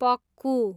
Pakku